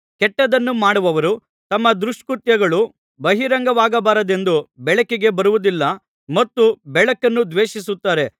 ಕೆಟ್ಟದ್ದನ್ನು ಮಾಡುವವರು ತಮ್ಮ ದುಷ್ಕೃತ್ಯಗಳು ಬಹಿರಂಗವಾಗಬಾರದೆಂದು ಬೆಳಕಿಗೆ ಬರುವುದಿಲ್ಲ ಮತ್ತು ಬೆಳಕನ್ನು ದ್ವೇಷಿಸುತ್ತಾರೆ